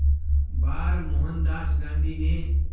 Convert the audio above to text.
बार मोहनदास गांधी ने